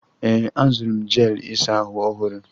Ee, azụrụ m jel ịsa ahụ ọhụrụ.